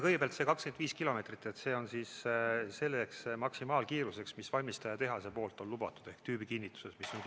Kõigepealt, see 25 kilomeetrit on maksimaalkiirus, mida valmistajatehas on lubanud ehk mis on tüübikinnituses kinnitatud.